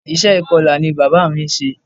Iṣẹ́ ìkọla ni bàbá mí ń ṣe.